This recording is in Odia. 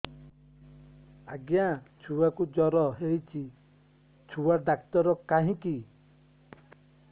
ଆଜ୍ଞା ଛୁଆକୁ ଜର ହେଇଚି ଛୁଆ ଡାକ୍ତର କାହିଁ କି